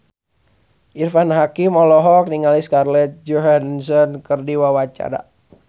Irfan Hakim olohok ningali Scarlett Johansson keur diwawancara